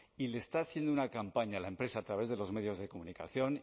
y le está haciendo una campaña a la empresa a través de los medios de comunicación